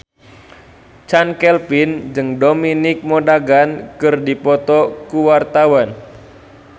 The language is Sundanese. Chand Kelvin jeung Dominic Monaghan keur dipoto ku wartawan